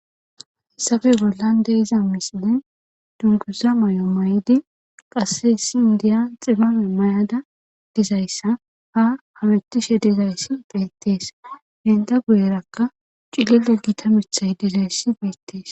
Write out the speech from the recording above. Haysabe bollande iza misilin dunguza may7o may7idi qasse esi indiya xibame may7ada dizayssa ha hametishe dizayssi beettees henda guyerakka cilile gita mithay dizayssi beettees.